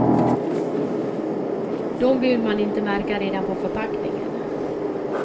Dem vill man inte märka redan på förpackningen.